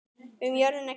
Um jörðina gildir